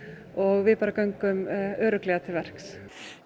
og við göngum örugglega til verks